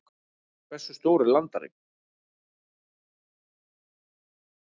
hversu stór er landareign